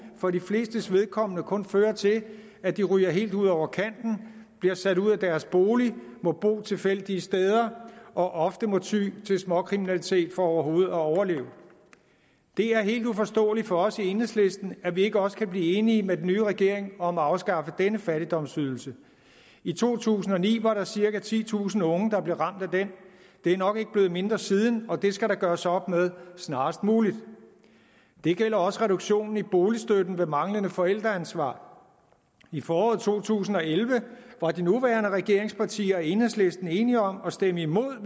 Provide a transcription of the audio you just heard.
for de flestes vedkommende kun fører til at de ryger helt ud over kanten bliver sat ud af deres bolig må bo tilfældige steder og ofte må ty til småkriminalitet for overhovedet at overleve det er helt uforståeligt for os i enhedslisten at vi ikke også kan blive enige med den nye regering om at afskaffe denne fattigdomsydelse i to tusind og ni var der cirka titusind unge der blev ramt af den det er nok ikke blevet mindre siden og det skal der gøres op med snarest muligt det gælder også reduktionen i boligstøtten ved manglende forældreansvar i foråret to tusind og elleve var de nuværende regeringspartier og enhedslisten enige om at stemme imod